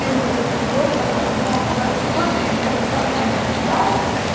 ты увидел там того-то того-то ну бывает же такое что если комиссар ночью стреляет